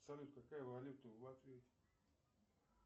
салют какая валюта в латвии